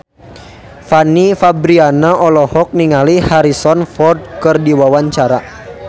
Fanny Fabriana olohok ningali Harrison Ford keur diwawancara